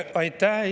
Aitäh!